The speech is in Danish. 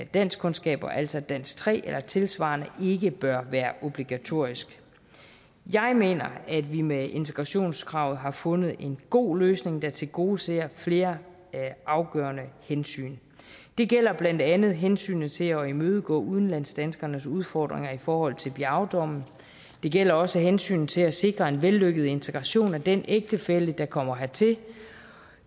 danskkundskaber altså dansk tre eller tilsvarende ikke bør være obligatoriske jeg mener at vi med integrationskravet har fundet en god løsning der tilgodeser flere afgørende hensyn det gælder blandt andet hensynet til at imødegå udlandsdanskernes udfordringer i forhold til biao dommen det gælder også hensynet til at sikre en vellykket integration af den ægtefælle der kommer hertil